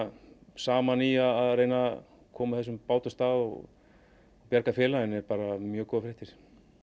saman í því að reyna koma þessum bát á stað og bjarga félaginu eru mjög góðar fréttir